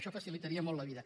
això facilitaria molt la vida